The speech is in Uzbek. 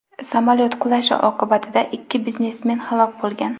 Samolyot qulashi oqibatida ikki biznesmen halok bo‘lgan.